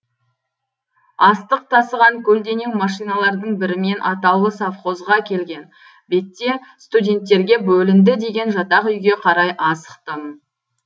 астық тасыған көлденең машиналардың бірімен атаулы совхозға келген бетте студенттерге бөлінді деген жатақ үйге қарай асықтым